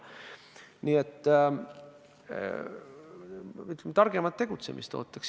Nii et ootaksin targemat tegutsemist.